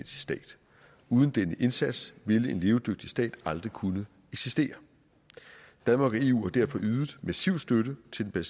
stat uden denne indsats vil en levedygtig stat aldrig kunne eksistere danmark og eu har derfor ydet massiv støtte til den